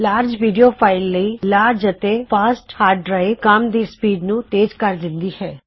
ਵੱਡੀ video file ਲਈ ਤੇਜ਼ ਅਤੇ ਵੱਡੀ ਹਾਰਡ ਡਰਾਇਵ ਕੰਮ ਦੀ ਰਫਤਾਰ ਤੇਜ਼ ਕਰ ਦਿੰਦੀ ਹੈ